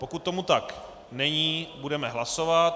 Pokud tomu tak není, budeme hlasovat.